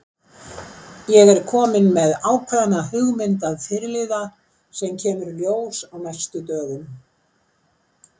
Ég er kominn með ákveðna hugmynd að fyrirliða sem kemur í ljós á næstu dögum.